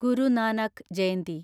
Guru Nanak Jayanti